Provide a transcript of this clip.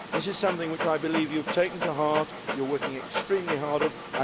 This is something which I believe you have taken to heart and that you are working extremely hard on.